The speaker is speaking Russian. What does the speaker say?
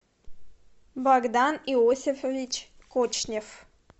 богдан иосифович кочнев